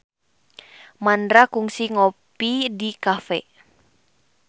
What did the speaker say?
Mandra kungsi ngopi di cafe